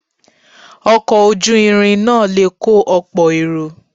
Ọkọ̀ ojú irin náà le kọ́ ọ̀pọ̀ èrò.